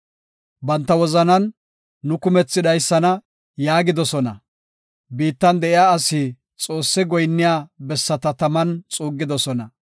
Banta wozanan, “Nu kumethi dhaysana” yaagidosona; biittan de7iya asi Xoosse goyinniya bessata taman xuuggidosona.